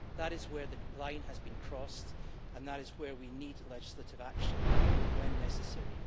That is where the line has been crossed and that is where we need legislative action when necessary.